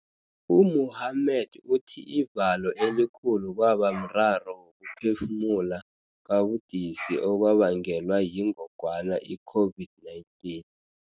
U-Mohammed uthi ivalo elikhulu kwaba mraro wokuphefumula kabudisi okwabangelwa yingogwana i-COVID-19.